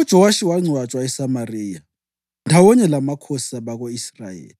UJowashi wangcwatshwa eSamariya ndawonye lamakhosi abako-Israyeli.